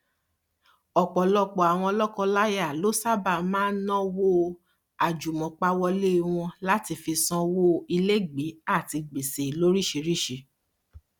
ọpọlọpọ àwọn lọkọláya ló sáábà máa ń ná owó àjùmọpawọlé wọn láti fi sanwó ilégbèé àti gbèsè lóríṣiríṣi